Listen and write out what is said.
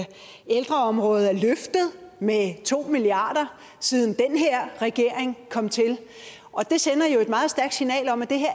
ældreområdet er løftet med to milliard kr siden den her regering kom til det sender et meget stærkt signal om at det her